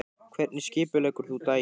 Hvernig skipuleggur þú daginn?